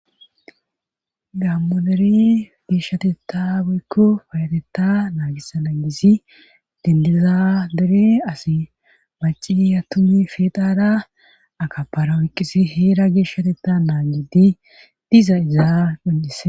gammo dere geeshshateta woykko payatetta naagisa na gisi dindiza dere asi maciya tumi feedada akapara woyqqisi heera geeshshateta naagidi diza iza quncise